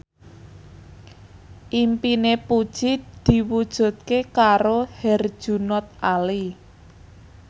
impine Puji diwujudke karo Herjunot Ali